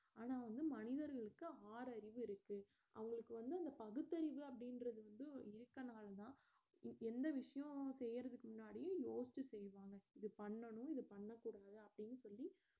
ஆனா வந்து மனிதர்களுக்கு ஆறறிவு இருக்கு அவங்களுக்கு வந்து அந்த பகுத்தறிவு அப்படின்றது வந்து இருக்கிறதனாலதான் எந்த விஷயமும் செய்யறதுக்கு முன்னாடி யோசிச்சு செய்வாங்க இது பண்ணனும் இது பண்ணக்கூடாது அப்படின்னு சொல்லி